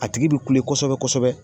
A tigi bɛ kule kosɛbɛ kosɛbɛ.